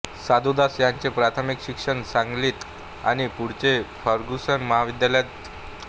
साधुदास यांचे प्राथमिक शिक्षण सांगलीत आणि पुढचे फर्ग्युसन महाविद्यालयात